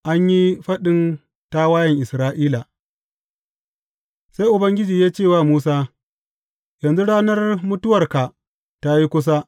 An yi faɗin tawayen Isra’ila Sai Ubangiji ya ce wa Musa, Yanzu ranar mutuwarka ta yi kusa.